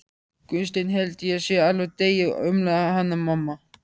Gunnsteinn, ég held ég sé alveg að deyja, umlaði Hanna-Mamma.